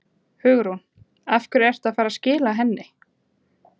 Hugrún: Af hverju ertu að fara að skila henni?